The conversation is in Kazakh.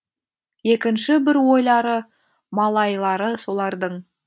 екінші бір ойлары малайлары солардың